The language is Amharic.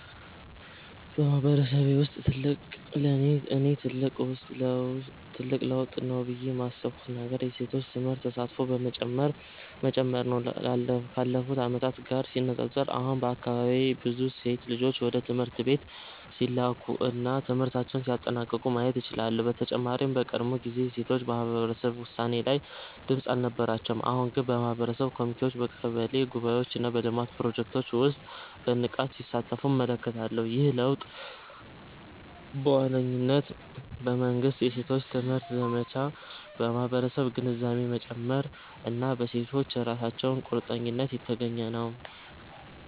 በማህበረሰቤ ውስጥ እኔ ትልቅ ለውጥ ነው ብዬ ያሰብኩት ነገር የሴቶች ትምህርት ተሳትፎ መጨመር ነው። ካለፉት ዓመታት ጋር ሲነጻጸር፣ አሁን በአካባቢዬ ብዙ ሴት ልጆች ወደ ትምህርት ቤት ሲላኩ እና ትምህርታቸውን ሲያጠናቅቁ ማየት እችላለሁ። በተጨማሪም በቀድሞ ጊዜ ሴቶች በማህበረሰብ ውሳኔ ላይ ድምጽ አልነበራቸውም፤ አሁን ግን በማህበረሰብ ኮሚቴዎች፣ በቀበሌ ጉባኤዎች እና በልማት ፕሮጀክቶች ውስጥ በንቃት ሲሳተፉ እመለከታለሁ። ይህ ለውጥ በዋነኝነት በመንግሥት የሴቶች ትምህርት ዘመቻ፣ በማህበረሰብ ግንዛቤ መጨመር እና በሴቶቹ ራሳቸው ቁርጠኝነት የተገኘ ነው።